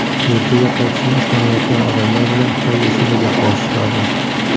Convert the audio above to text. Yurtiga qaytishni istamayotgan odamlar bilan qay yo‘sinda gaplashish lozim?